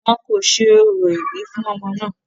wọn kò ṣe orò ìbí fún ọmọ náà